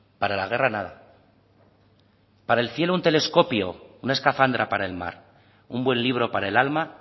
para la guerra nada para el cielo un telescopio una escafandra para el mar un buen libro para el alma